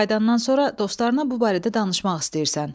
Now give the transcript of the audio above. Qayıdandan sonra dostlarına bu barədə danışmaq istəyirsən.